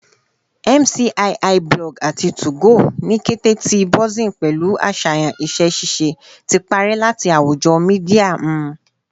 MCIIBlog ati 2go, ni kete ti buzzing pẹlu aṣayan iṣẹ-ṣiṣe, ti parẹ lati awujo media nmu